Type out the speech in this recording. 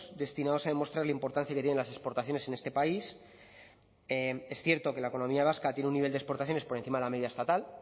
destinados a demostrar la importancia que tienen las exportaciones en este país es cierto que la economía vasca tiene un nivel de exportaciones por encima de la media estatal